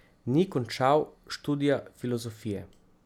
Ni končal študija filozofije.